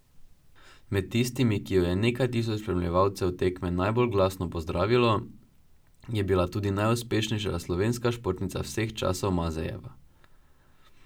Med tistimi, ki jo je nekaj tisoč spremljevalcev tekme najbolj glasno pozdravilo, je bila tudi najuspešnejša slovenska športnica vseh časov Mazejeva.